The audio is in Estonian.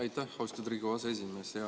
Aitäh, austatud Riigikogu aseesimees!